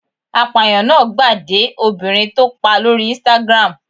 Apàyàn náà gbà de obìnrin tó pa lórí Instagram.